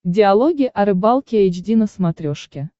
диалоги о рыбалке эйч ди на смотрешке